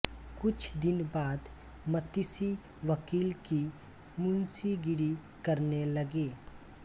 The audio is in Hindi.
कुछ दिन बाद मतिसी वकील की मुंशी गिरी करने लगे